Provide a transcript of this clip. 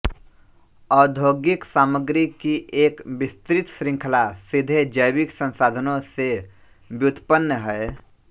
औद्योगिक सामग्री की एक विस्तृत श्रृंखला सीधे जैविक संसाधनों से व्युत्पन्न हैं